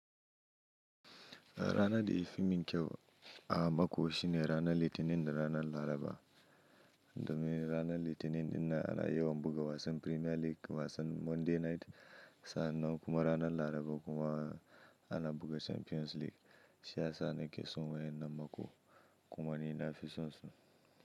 Rana da yi fimmin kyau a mako shine ranar Litinin, da ranar Laraba. Domin ranar Litinin ina yana yawan buga wasan Premier League, wasan Monday Night, sa'an nan kuma ranar Laraba kuma ana buga Champions League. Shi ya sa nake son wayennan mako, kuma ni na fi son su.